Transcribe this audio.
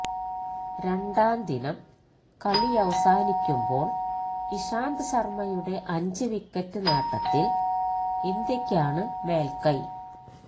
രണ്ടാം ദിനം കളിയവസാനിക്കുമ്പോള് ഇഷാന്ത് ശര്മ്മയുടെ അഞ്ചു വിക്കറ്റ് നേട്ടത്തില് ഇന്ത്യയ്ക്കാണ് മേല്ക്കൈ